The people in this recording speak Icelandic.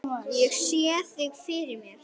Ég sé þig fyrir mér.